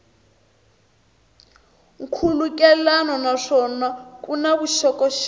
nkhulukelano naswona ku na vuxokoxoko